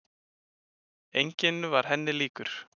Enginn var henni líkur.